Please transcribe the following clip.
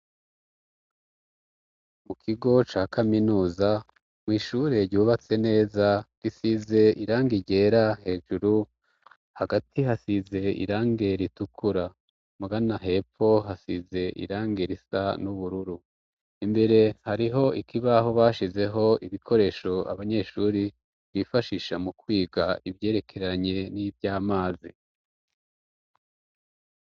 Mu kigo ca kaminuza mwishuree ryubatse neza gisize iranga irera hejuru hagati hasize irange ritukura mugana hepo hasize irange irisa n'ubururu imbere hariho ikibaho bashizeho ibikoreshoe abanyeshuri twifashisha mu kwiga ivyerekeranye n'ivyo amazi.